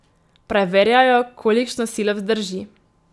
Preverjajo, kolikšno silo vzdrži.